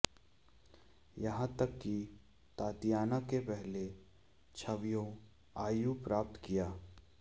यहां तक कि तातियाना के पहले छवियों आयु प्राप्त किया